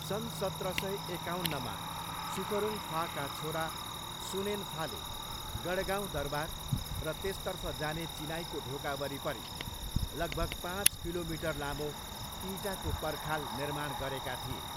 सन् सत्र सय एकाउन्नमा सुखरुङफाका छोरा सुनेनफाले गढगाउँ दरबार र त्यसतर्फ जाने चिनाईको ढोका वरिपरि लगभग पाँच किलोमिटर लामो इँटाको पर्खाल निर्माण गरेका थिए।